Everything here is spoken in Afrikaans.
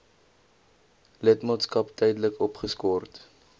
lidmaatskap tydelik opgeskort